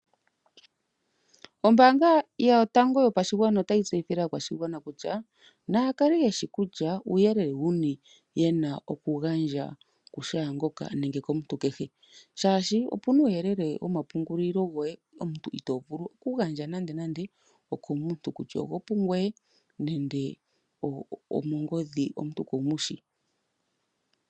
Ombaanga yotango yopashigwana otayi tseyithile aakwashigwana kutya, naya kale yeshi kutya uuyelele wuni yena okugandja ku shaangoka nenge komuntu kehe shaashi, opena uuyelele womapungulilo goye omuntu ito vulu okugandja nande nande komuntu kutya ogo pungoye nenge omongodhi omuntu kumushi.